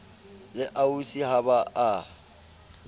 le ausi ha ba a